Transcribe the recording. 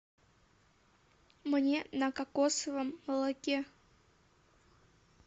мне на кокосовом молоке